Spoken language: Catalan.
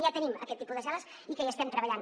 ja tenim aquest tipus de cel·les i que hi estem treballant